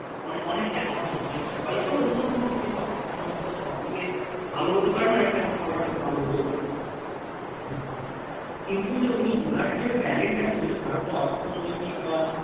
অনেকটা হ্যাঁ অনেকটাই হয়ত অন্য কোন দিকে শখ সবাইত সব দিকে ভালো হতে পারেনা সবার কাছে ভালো হতেও পারে না হম কিন্তু যে উনি ওনার যে talent টা ছিল যে ভারতের অর্থনৈতিক বা